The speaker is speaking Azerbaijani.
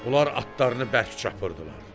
Onlar atlarını bərk çapırdılar.